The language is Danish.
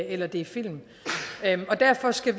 eller det er film og derfor skal